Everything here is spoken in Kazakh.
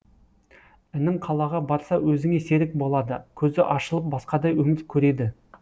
інің қалаға барса өзіңе серік болады көзі ашылып басқадай өмір көреді